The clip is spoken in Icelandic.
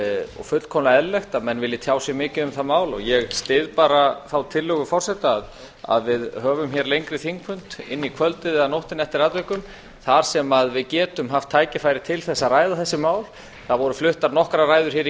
og fullkomlega eðlilegt að menn vilji tjá sig mikið um það mál ég styð bara þá tillögu forseta að við höfum hér lengri þingfund inn í kvöldið eða nóttina eftir atvikum þar sem við getum haft tækifæri til þess að ræða þessi mál það voru fluttar nokkrar ræður hér í